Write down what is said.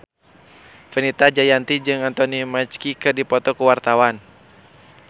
Fenita Jayanti jeung Anthony Mackie keur dipoto ku wartawan